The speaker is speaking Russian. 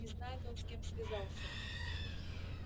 не знает он с кем связался